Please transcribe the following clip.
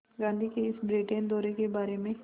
गांधी के इस ब्रिटेन दौरे के बारे में